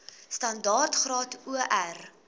standaard graad or